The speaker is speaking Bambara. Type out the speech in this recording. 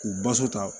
K'u baso ta